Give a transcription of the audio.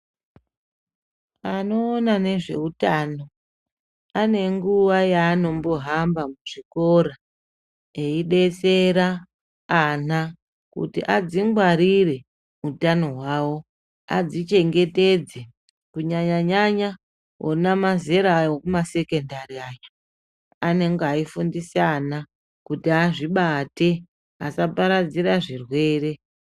Anoona nezveutano anenguwa yaanombohamba muzvikora yeidetsera ana kuti adzingwarire utano hwawo , adzichengetedze kunyanya nyanya ona mazera ekumasekendari aya anenge eifundise ana kuti azvibate asaparadzira zvirwere.